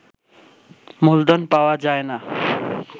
মূলধন পাওয়া যায় না